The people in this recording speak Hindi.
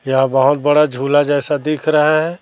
यहां बहोत बड़ा झूला जैसा दिख रहा है।